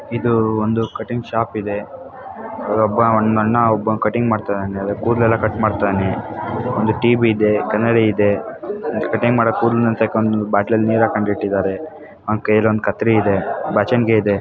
ಇದು ಒಂದು cutting shop ಇದೆ. ಅಲ್ಲೊಬ್ಬ ಅವನ್ನ ಒಬ್ಬಂಗೆ ಕಟಿಂಗ್ ಮಾಡ್ತಾಯಿದನೆ. ಕುದ್ಲ್ಲೆಲ್ಲಾ ಕಟ್ ಮಾಡ್ತಾಯಿದನೆ. ಒಂದು ಟಿ_ ವಿ ಇದೆ. ಕನ್ನಡಿ ಇದೆ. ಒಂದು ಕಟಿಂಗ್ ಮಾಡಕ್ ಬಾಟ್ಲಾಲ್ಲಿ ನೀರ್ ಅಕ್ಕಂದ್ ಇಟ್ಟಿಧಾರೆ . ಅವನ್ ಕೈಯಲ್ಲೊಂದು ಕತ್ರಿ ಇದೆ ಬಾಚಣಿಗೆ ಇದೆ.